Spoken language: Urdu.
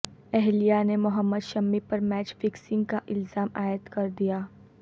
اہلیہ نے محمد شامی پر میچ فکسنگ کا الزام عائد کردیا